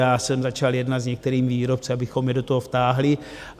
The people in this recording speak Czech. Já jsem začal jednat s některými výrobci, abychom je do toho vtáhli.